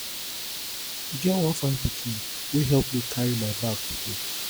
e get one fine pikin wey help me carry my bag today